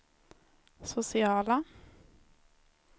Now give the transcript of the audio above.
sociala